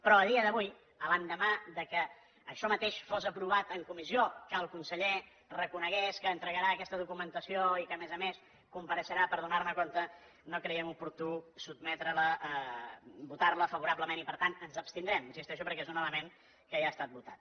però a dia d’avui l’endemà que això mateix fos aprovat en comissió que el conseller reconegués que entregarà aquesta documentació i que a més a més compareixerà per donar ne compte no creiem oportú sotmetre la votar la favorablement i per tant ens abstindrem hi insisteixo perquè és un element que ja ha estat votat